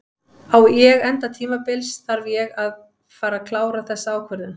Ég enda tímabils þarf ég að fara að klára þessa ákvörðun.